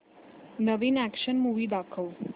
नवीन action movie दाखव